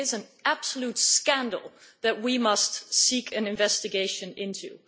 It is an absolute scandal, which we must seek an investigation into.